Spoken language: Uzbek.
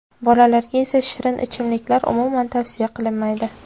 Bolalarga esa shirin ichimliklar umuman tavsiya qilinmaydi.